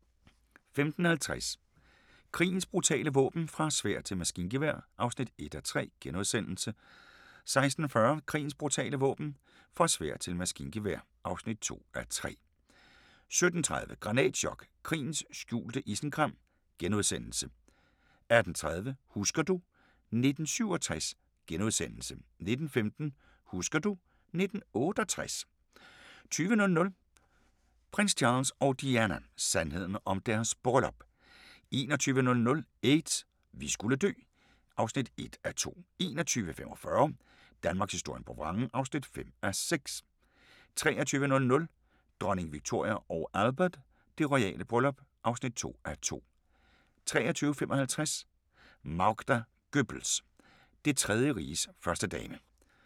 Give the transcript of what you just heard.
15:50: Krigens brutale våben - fra sværd til maskingevær (1:3)* 16:40: Krigens brutale våben – fra sværd til maskingevær (2:3) 17:30: Granatchok: Krigens skjulte skam * 18:30: Husker du ... 1967 * 19:15: Husker du ... 1968 20:00: Prins Charles og Diana: Sandheden om deres bryllup 21:00: Aids: Vi skulle dø (1:2) 21:45: Danmarkshistorien på vrangen (5:6) 23:00: Dronning Victoria & Albert: Det royale bryllup (2:2) 23:55: Magda Goebbels – Det Tredje Riges førstedame